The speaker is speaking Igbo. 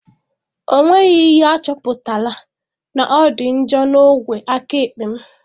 Ọ nweghị ihe achọpụtara na ọ dị njọ na ogwe aka ekpe m